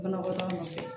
Banakɔtaga ma